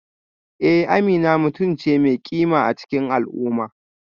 Eh Amina mutum ce mai kima a cikin al'umma